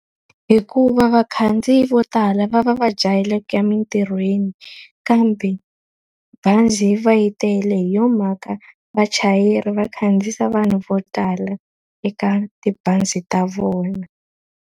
Hikuva vakhandziyi vo tala va va va jahele ku ya emintirhweni kambe bazi yi va yi tele. Hi yo mhaka vachayeri va khandziyisa vanhu vo tala eka tibazi ta vona.